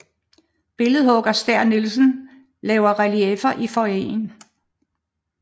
Billedhugger Stæhr Nielsen laver reliefferne i foyeren